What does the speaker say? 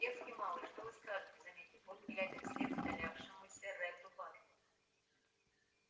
дерзкий малый что вы скажете заметил он глядя вслед удалявшемуся ретту батлеру